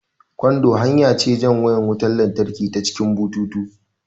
Kando hanya ce jan wayar wutan latraki ta cikin bututu